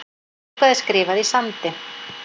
Eitthvað er skrifað í sandinn